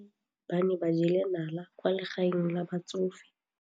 Basadi ba ne ba jela nala kwaa legaeng la batsofe.